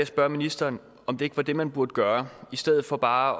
spørge ministeren om det ikke var det man burde gøre i stedet for bare